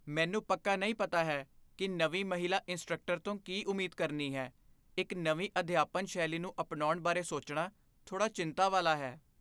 ਮੈਨੂੰ ਪੱਕਾ ਨਹੀਂ ਪਤਾ ਹੈ ਕਿ ਨਵੀਂ ਮਹਿਲਾ ਇੰਸਟ੍ਰਕਟਰ ਤੋਂ ਕੀ ਉਮੀਦ ਕਰਨੀ ਹੈ। ਇੱਕ ਨਵੀਂ ਅਧਿਆਪਨ ਸ਼ੈਲੀ ਨੂੰ ਅਪਣਾਉਣ ਬਾਰੇ ਸੋਚਣਾ ਥੋੜਾ ਚਿੰਤਾ ਵਾਲਾ ਹੈ।